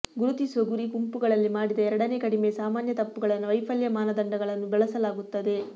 ಗುರುತಿಸುವ ಗುರಿ ಗುಂಪುಗಳಲ್ಲಿ ಮಾಡಿದ ಎರಡನೇ ಕಡಿಮೆ ಸಾಮಾನ್ಯ ತಪ್ಪುಗಳನ್ನು ವೈಫಲ್ಯ ಮಾನದಂಡಗಳನ್ನು ಬಳಸಲಾಗುತ್ತದೆ